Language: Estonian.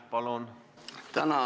Palun!